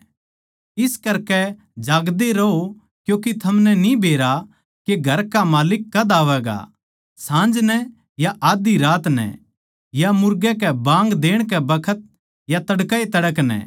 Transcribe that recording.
इस करकै जागदे रहो क्यूँके थमनै न्ही बेरा के घर का माल्लिक कद आवैगा साँझ नै या आध्धी रात नै या मुर्गे के बाँग देण के बखत या तड़कए तड़कै नै